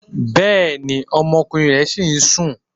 Bẹ́ẹ̀ni, ọmọkùnrin rẹ ṣìí sún.